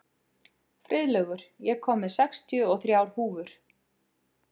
Friðlaugur, ég kom með sextíu og þrjár húfur!